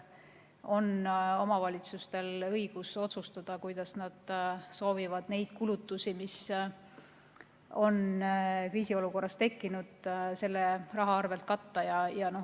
Omavalitsustel on õigus otsustada, kuidas nad soovivad neid kulutusi, mis on kriisiolukorras tekkinud, selle rahaga katta.